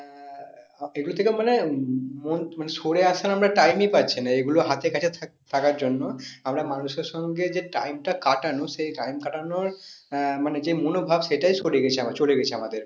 এগুলো থেকে মানে উম মানে সরে আসার আমরা time ই পাচ্ছি না এগুলো হাতের কাছে থাকার জন্য আমরা মানুষের সঙ্গে যে time টা কাটানো সেই time কাটানোর আহ মানে যে মনোভাব সেটাই সরে গেছে আমার চলে গেছে আমাদের।